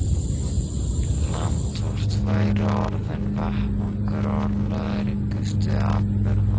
Land vort væri orðinn vettvangur örlagaríkustu atburða.